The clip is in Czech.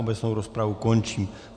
Obecnou rozpravu končím.